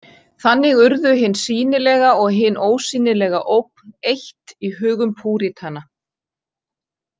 Þannig urðu hin sýnilega og hin ósýnilega ógn eitt í hugum púritana.